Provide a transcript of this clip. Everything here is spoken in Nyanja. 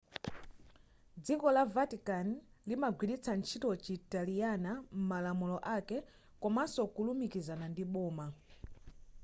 dziko la vatican limagwiritsa ntchito chitaliyana m'malamulo ake komanso kulumikizana ndi boma